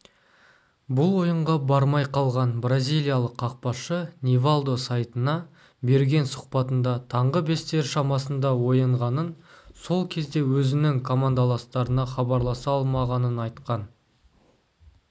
бұл ойынға бармай қалған бразилиялық қақпашы нивалдо сайтына берген сұхбатында таңғы бестер шамасында оянғанын сол кезде өзінің командаластарына хабарласа алмағанын айтқан